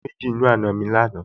Mo rí méjì nínú àna mi lánàá